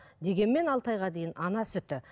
дегенмен алты айға дейін ана сүті